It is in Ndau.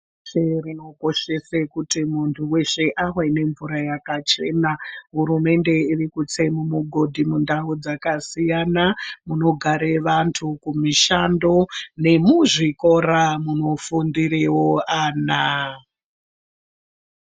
Pashi reshe rinokoshesankuti muntu weshe ave nemvura yakachena hurumende iri kutse migodhi mundau dzakasiyana munogara vantu mushando vemuzvikora munifundirawo vana.